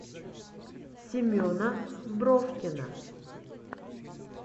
семена бровкина